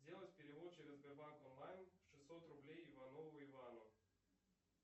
сделать перевод через сбербанк онлайн шестьсот рублей иванову ивану